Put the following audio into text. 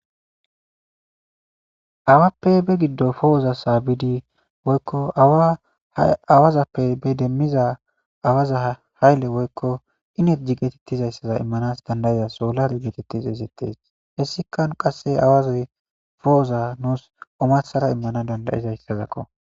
Awappe be giddo po'oza saabidi woykko awazappe be demmidiza hayile woykko enerje geetettizayssaza immanas danda'iza soolare geetetti xeyssetes. Hessikka qasse awazi po'oza nuus omarssara immana danda'izayssazakko.